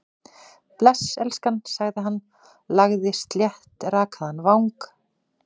Bless, elskan- sagði hann, lagði sléttrakaðan vang